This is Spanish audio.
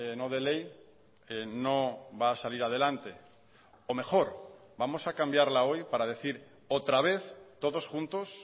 no de ley no va a salir adelante o mejor vamos a cambiarla hoy para decir otra vez todos juntos